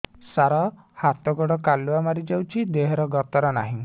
ସାର ହାତ ଗୋଡ଼ କାଲୁଆ ମାରି ଯାଉଛି ଦେହର ଗତର ନାହିଁ